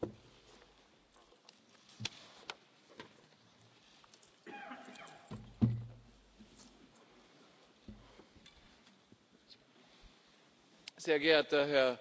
Sehr geehrter Herr Präsident des Europäischen Parlaments, sehr geehrter Herr Kommissionspräsident, sehr geehrte Damen und Herren Fraktionsvorsitzende und vor allem sehr geehrte Damen und Herren Abgeordnete!